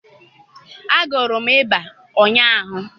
agụrụ m ịba ụnyaahụ